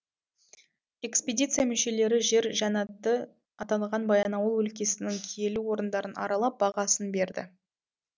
экспедиция мүшелері жер жәннаты атанған баянауыл өлкесінің киелі орындарын аралап бағасын берді